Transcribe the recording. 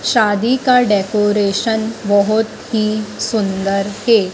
शादी का डेकोरेशन बहुत ही सुंदर है।